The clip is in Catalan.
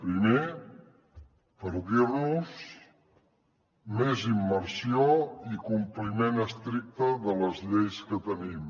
primer per dir nos més immersió i compliment estricte de les lleis que tenim